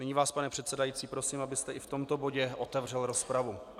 Nyní vás, pane předsedající, prosím, abyste i v tomto bodě otevřel rozpravu.